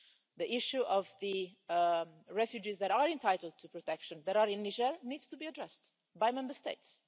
The issue of the refugees that are entitled to protection that are in Niger needs to be addressed by Member States.